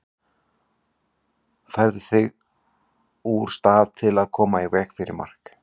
Færðu þær sig úr stað til að koma í veg fyrir mark?